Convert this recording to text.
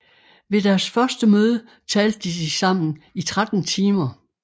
Ved deres første møde talte de sammen i 13 timer